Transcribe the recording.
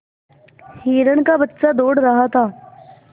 हिरण का बच्चा दौड़ रहा था